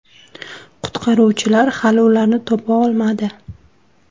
Qutqaruvchilar hali ularni topa olmadi.